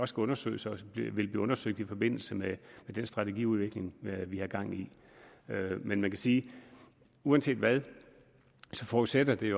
skal undersøges og vil blive undersøgt i forbindelse med den strategiudvikling vi har gang i men man kan sige at uanset hvad forudsætter det